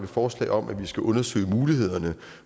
forslag om at undersøge mulighederne